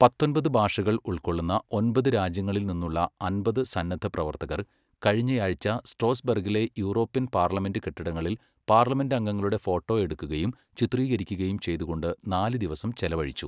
പത്തൊൻപത് ഭാഷകൾ ഉൾക്കൊള്ളുന്ന ഒമ്പത് രാജ്യങ്ങളിൽ നിന്നുള്ള അമ്പത് സന്നദ്ധപ്രവർത്തകർ കഴിഞ്ഞയാഴ്ച സ്ട്രോസ്ബർഗിലെ യൂറോപ്യൻ പാർലമെൻ്റ് കെട്ടിടങ്ങളിൽ പാർലമെൻ്റംഗങ്ങളുടെ ഫോട്ടോ എടുക്കുകയും ചിത്രീകരിക്കുകയും ചെയ്തുകൊണ്ട് നാല് ദിവസം ചെലവഴിച്ചു.